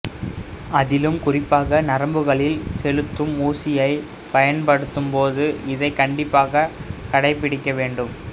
அதிலும் குறிப்பாக நரம்புகளில் செலுத்தும் ஊசியைப் பயன்படுத்தும் போது இதை கண்டிப்பாகக் கடைப்பிடிக்க வேண்டும்